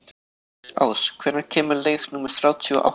Ás, hvenær kemur leið númer þrjátíu og átta?